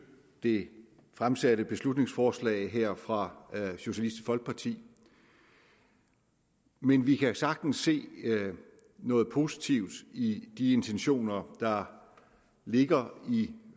det fremsatte beslutningsforslag her fra socialistisk folkeparti men vi kan sagtens se noget positivt i de intentioner der ligger i